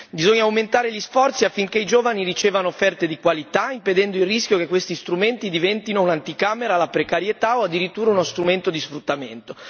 Bisogna aumentare gli sforzi affinché i giovani ricevano offerte di qualità, impedendo il rischio che questi strumenti diventino un'anticamera alla precarietà o addirittura uno strumento di sfruttamento.